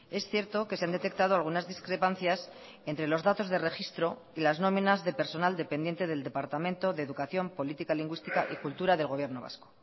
es cierto que se han detectado algunas discrepancias entre los datos de registro y las nóminas de personal dependiente del departamento de educación política lingüística y cultura del gobierno vasco